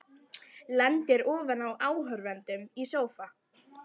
Lendir ofan á áhorfendum í sófa.